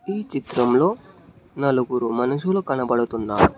ఈ చిత్రంలో నలుగురు మనుషులు కనబడుతున్నారు.